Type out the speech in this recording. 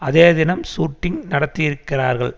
அதே தினம் ஷூட்டிங் நடத்தியிருக்கிறார்கள்